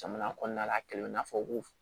Jamana kɔnɔna la a kɛla i n'a fɔ ko